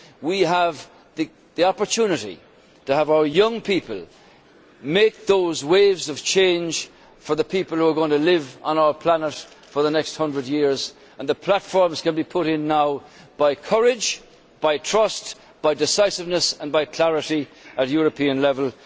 We have the opportunity to have our young people make those waves of change for the people who are going to live on our planet for the next hundred years, and the platforms can be put in now by courage, trust, decisiveness and clarity at European level.